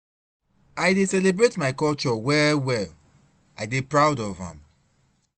I dey celebrate my culture well well, I dey proud of am.